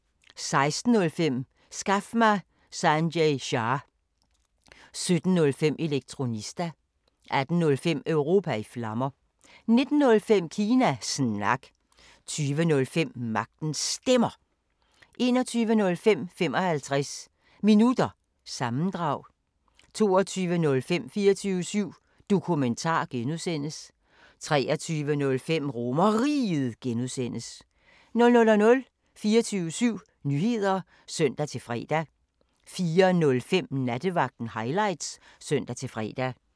16:05: Skaf mig Sanjay Shah! 17:05: Elektronista 18:05: Europa i Flammer 19:05: Kina Snak 20:05: Magtens Stemmer 21:05: 55 Minutter – sammendrag 22:05: 24syv Dokumentar (G) 23:05: RomerRiget (G) 00:00: 24syv Nyheder (søn-fre) 04:05: Nattevagten Highlights (søn-fre)